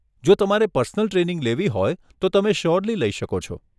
જો તમારે personal training લેવી હોય તો તમે શ્યોરલી લઇ શકો છો.